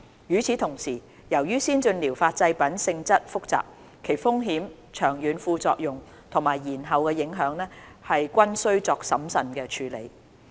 與此同時，由於先進療法製品性質複雜，其風險、長遠副作用及延後影響，均須作審慎處理。